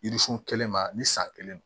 Yiririsun kelen ma ni san kelen don